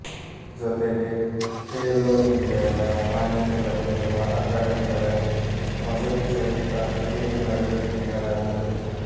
ಜೊತೆಗೆ ಖೇಲೊ ಇಂಡಿಯಾದ ಮಾನ್ಯತೆ ಪಡೆದಿರುವ ಅಕಾಡೆಮಿಗಳಲ್ಲಿ ವಸತಿ ಸಹಿತ ವಿಶೇಷ ತರಬೇತಿ ನೀಡಲಾಗುತ್ತದೆ